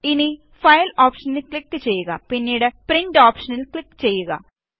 ഇനി ഫയല് ഓപ്ഷനില് ക്ലിക് ചെയ്യുക പിന്നീട് പ്രിന്റ് ഓപ്ഷനില് ക്ലിക് ചെയ്യുക